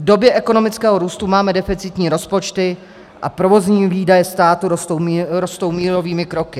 V době ekonomického růstu máme deficitní rozpočty a provozní výdaje státu rostou mílovými kroky.